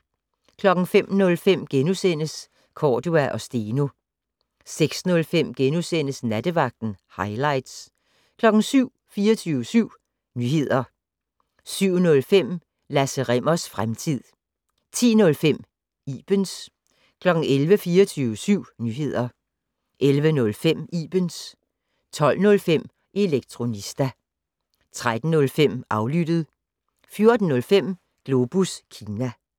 05:05: Cordua & Steno * 06:05: Nattevagten - hightlights * 07:00: 24syv Nyheder 07:05: Lasse Rimmers fremtid 10:05: Ibens 11:00: 24syv Nyheder 11:05: Ibens 12:05: Elektronista 13:05: Aflyttet 14:05: Globus Kina